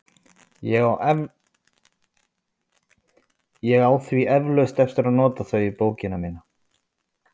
Ég á því eflaust eftir að nota þau í bókina mína.